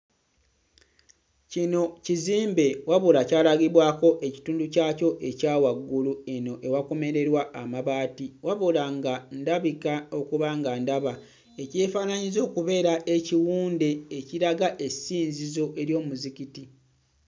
Kino kizimbe wabula kyalagibwako ekitundu kyakyo ekya waggulu eno ewakomererwa amabaati wabula nga ndabika okuba nga ndaba ekyefaanaanyiriza okubeera ekiwunde ekiraga essinzizo ery'omuzikiti.